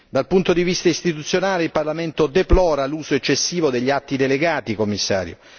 Dal punto di vista istituzionale, il Parlamento deplora l'uso eccessivo degli atti delegati, Commissario.